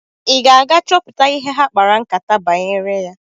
Ị ga-aga chọpụta ihe ha kpara nkátá banyere ya?